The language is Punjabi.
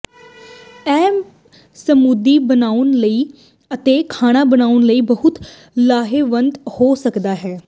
ਇਹ ਸਮੂਦੀ ਬਣਾਉਣ ਅਤੇ ਖਾਣਾ ਬਣਾਉਣ ਲਈ ਬਹੁਤ ਲਾਹੇਵੰਦ ਹੋ ਸਕਦੇ ਹਨ